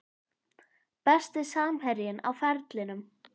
Besti samherjinn á ferlinum?